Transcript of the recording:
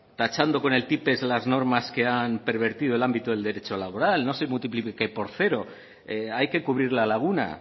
tachando con el tipex las normas que han pervertido el ámbito del derecho laboral no se multiplique por cero hay que cubrir la laguna